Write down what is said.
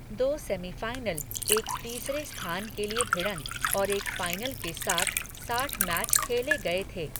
दो सेमीफ़ाइनल, एक तीसरे स्थान के लिए भिड़ंत और एक फाइनल के साथ साठ मैच खेले गए थे।